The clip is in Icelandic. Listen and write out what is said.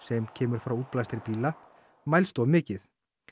sem kemur frá bíla mælst of mikið